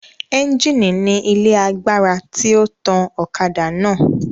Ẹńjìnì ni ilé agbára tí ó tan ọ̀kadà náà